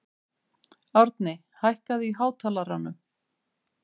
Árni, hækkaðu í hátalaranum.